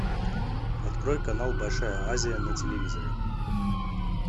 открой канал большая азия на телевизоре